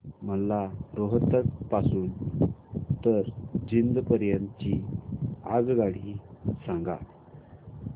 मला रोहतक पासून तर जिंद पर्यंत ची आगगाडी सांगा